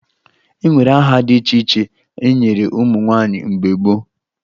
E nwere aha dị iche iche e nyere ụmụ nwaanyị mgbe gboo